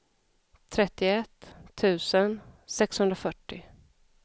trettioett tusen sexhundrafyrtio